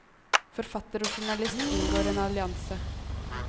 Forfatter og journalist inngår en allianse.